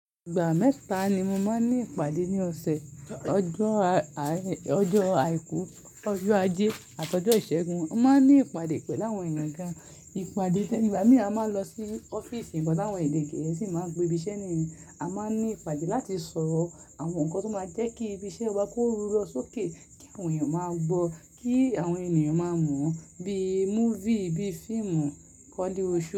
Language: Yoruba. Ìgbà mẹ́ta ni mo máa ń ní ìpàdé ní ọ̀sẹ̀. Ọjọ́ àìkú, ọjọ́ ajé, àtọjọ́ ìṣẹ́gun. A máa ń ní ìpàdé pẹ̀lú àwọn èèyàn gan. Ìpàdé tẹní ba, igba mi a máa n lọ sí ọ́fíìsì igba táwọn èdè gẹ̀ẹ́sì máa ń pé ibi iṣẹ́ nìyẹn. A máa ń ní ìpàdé láti sọ̀rọ̀ àwọn ǹkan tó máa jẹ́ kí ibi iṣẹ́ wa kó ru lọ sókè, kí àwọn èèyàn máa gbọ́, kí àwọn ènìyàn máa mọ̀ ọ́n bí movie, bí fíìmù, koleosho.